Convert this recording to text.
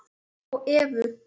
Hik kemur á Evu.